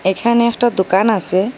এখানে একটা দোকান আসে।